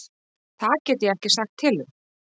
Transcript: Það get ég ekki sagt til um.